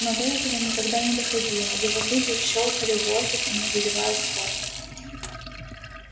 но до этого никогда но доходило его зубы щёлкали в воздухе не задевая скотта